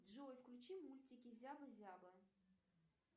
джой включи мультики зяба зяба